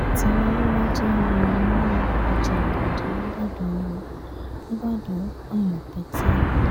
téraléra já wọ inú ọjà bọ́dẹ nìbàdàn ó nìbàdàn ó pààyàn pète